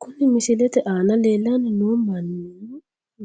Kuni misilete aana leellanni noohu mannu